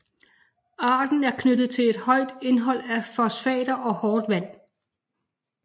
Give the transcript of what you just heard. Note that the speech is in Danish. Arten er knyttet til et højt indhold af fosfater og hårdt vand